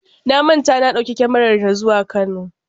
Na manta na ɗauki kyamarata zuwa Kano.